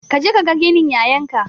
Kaje kaga ginin yayan ka